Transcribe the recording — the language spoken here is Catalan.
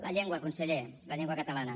la llengua conseller la llengua catalana